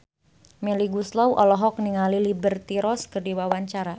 Melly Goeslaw olohok ningali Liberty Ross keur diwawancara